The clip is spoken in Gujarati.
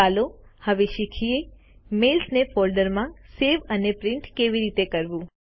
ચાલો હવે શીખીએ મેઈલ્સ ને ફોલ્ડરમાં સેવ અને પ્રીન્ટ કેવી રીતે કરવું